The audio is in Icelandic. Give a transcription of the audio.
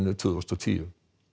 tvö þúsund og tíu